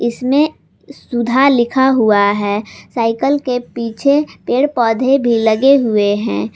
इसमें सुधा लिखा हुआ है साइकल के पीछे पेड़ पौधे भी लगे हुए हैं।